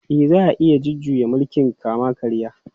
E, za a iya jujjuya mulkin kama-karya.